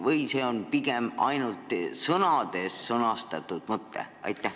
Või on see pigem ainult sõnades sõnastatud mõte?